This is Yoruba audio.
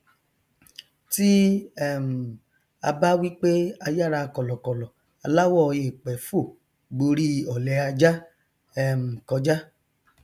tí um a bá wí pé ayára kọlọkọlọ aláwọ èèpẹ fò gborí ọlẹ ajá um kọjá